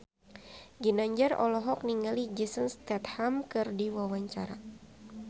Ginanjar olohok ningali Jason Statham keur diwawancara